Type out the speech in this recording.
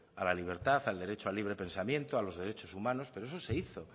a la libertad al derecho al libre pensamiento a los derechos humanos pero eso se hizo